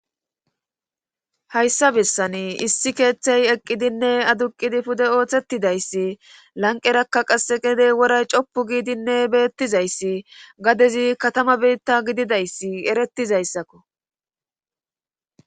hayssa bessani issi keeththey eqqidinne aduqidi pude ooththetidayssi lanqerakka qasse qedey woray coppu giidinne beettizayssi gadezi katama biitta gididayssi erettizayssakko